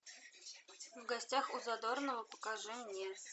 в гостях у задорнова покажи мне